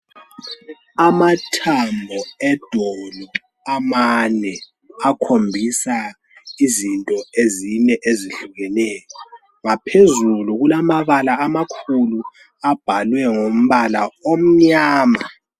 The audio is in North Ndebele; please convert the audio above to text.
Amathambo edolo amane akhombisa izinto ezine ezehlukeneyo ngaphezulu kulamabala amakhulu abhalwe ngombala omnyama.